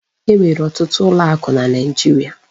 E nwere ọtụtụ ụlọ akụ na naijiria.